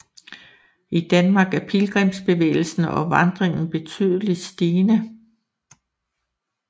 I Danmark er pilgrimsbevægelsen og vandringen betydelig stigende